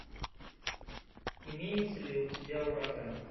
имеется ли у тебя ураган